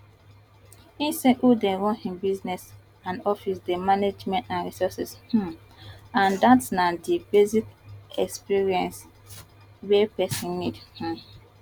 e say who dey run im business and office dey manage men and resources um and dat na di basic experience wey pesin need um